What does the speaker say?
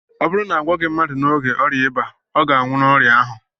ọ bụrụ na a gwọọghị mmadụ n'oge ọrịa ịba, ọ ga-anwụ n'ọrịa ahụ